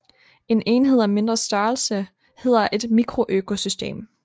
En enhed af mindre størrelse hedder et mikroøkosystem